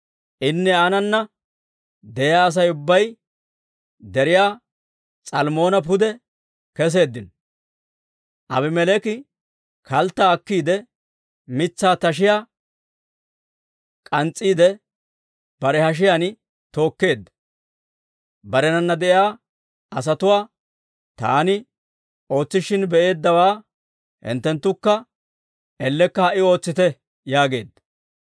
Inne aanana de'iyaa Asay ubbay Deriyaa S'almmoona pude keseeddino. Aabimeleeki kalttaa akkiide, mitsaa tashiyaa k'ans's'iidde, bare hashiyaan tookeedda; barenana de'iyaa asatuwaa, «Taani ootsishin be'eeddawaa, hinttenttukka ellekka ha"i ootsite» yaageedda.